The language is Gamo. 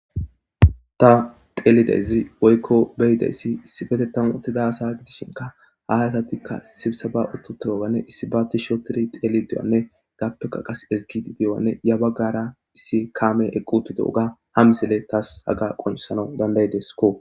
ta xeelizaysi woykko beyidayssi issi betetam utida asa gidishinka hahasatikka sibisa ba uttu turoganne issi baatti shootiri xeeli dewanne gappeka qas esgigideyoanne ya baggara issi kaame eqqu tu dooga ha misile taas haga qonsana dandayideskko